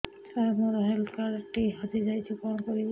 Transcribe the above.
ସାର ମୋର health card ଟି ହଜି ଯାଇଛି କଣ କରିବି